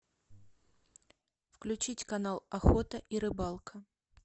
включить канал охота и рыбалка